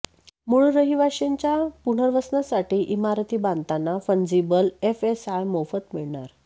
मूळ रहिवाशांच्या पुनर्वसनासाठी इमारती बांधताना फंजिबल एफएसआय मोफत मिळणार